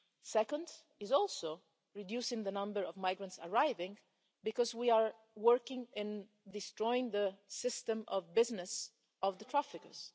Second is also reducing the number of migrants arriving, because we are working in destroying the system of business of the traffickers.